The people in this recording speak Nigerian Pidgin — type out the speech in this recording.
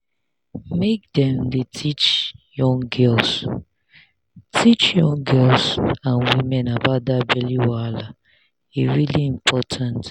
make dem dey teach young girls teach young girls and women about that belly wahala e really important